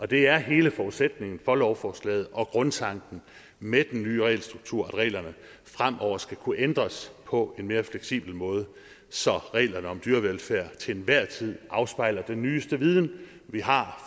det er hele forudsætningen for lovforslaget og grundtanken med den nye regelstruktur at reglerne fremover skal kunne ændres på en mere fleksibel måde så reglerne om dyrevelfærd til enhver tid afspejler den nyeste viden vi har